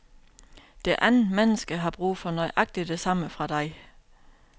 Det andet menneske har brug for nøjagtig det samme fra dig.